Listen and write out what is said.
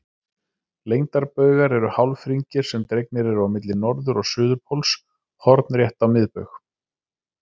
Lengdarbaugar eru hálfhringir sem dregnir eru á milli norður- og suðurpóls hornrétt á miðbaug.